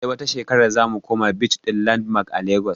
Sai wata shekarar zamu koma beach ɗin landmark a legas